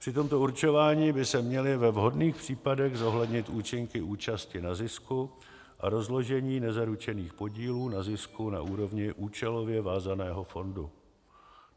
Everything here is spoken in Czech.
Při tomto určování by se měly ve vhodných případech zohlednit účinky účasti na zisku a rozložení nezaručených podílů na zisku na úrovni účelově vázaného fondu.